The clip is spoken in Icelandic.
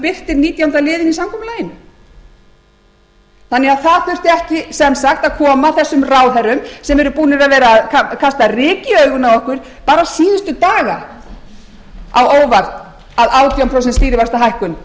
birtir nítjánda liðinn í samkomulaginu þannig að það þurfti ekki sem sagt að koma þessum ráðherrum sem eru búnir að vera að kasta ryki í augun á okkur bara síðustu daga af hógværð